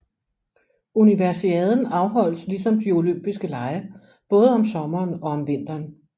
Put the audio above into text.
Universiaden afholdes ligesom de Olympiske Lege både om sommeren og om vinteren